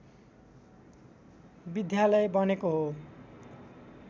विद्यालय बनेको हो